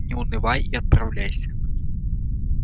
не унывай и отправляйся